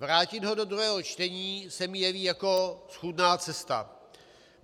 Vrátit ho do druhého čtení se mi jeví jako schůdná cesta.